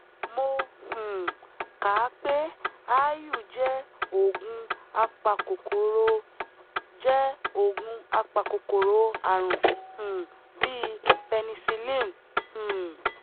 mo um kà á pé aáyù jẹ́ oògùn apakòkòrò jẹ́ oògùn apakòkòrò ààrùn um bíi penicillin um